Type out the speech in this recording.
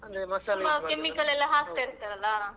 ತುಂಬಾ chemical ಎಲ್ಲಾ ಹಾಕ್ತಾ ಇರ್ತಾರೆ ಅಲ್ಲಾ?